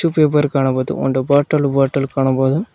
ದು ಪೇಪರ್ ಕಾಣಬಹುದು ಒಂದು ಬಾಟಲ್ ಬಾಟಲ್ ಕಾಣಬಹುದು.